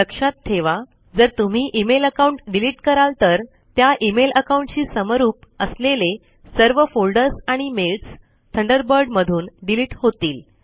लक्षात ठेवा जर तुम्ही इमेल अकाउंट डिलीट कराल तर त्या इमेल अकाउंट शी समरूप असलेले सर्व फोल्डर्स आणि मेल्स थंडरबर्ड मधून डिलीट होतील